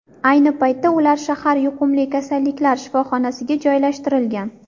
Ayni paytda ular shahar yuqumli kasalliklar shifoxonasiga joylashtirilgan.